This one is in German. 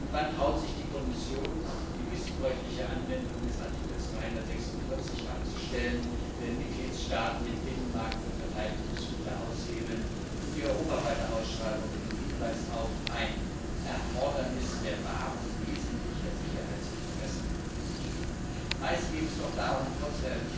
Und wann traut sich die Kommission, die missbräuchliche Anwendung des Artikels 346 abzustellen, wenn Mitgliedstaaten den Binnenmarkt für Verteidigungsgüter aushebeln und die europaweite Ausschreibung mit dem Hinweis auf ein Erfordernis der Wahrung wesentlicher Sicherheitsinteressen umgehen? Meist geht es doch darum, trotz